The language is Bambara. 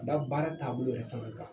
Ka da baara taabolo yɛrɛ fana kan.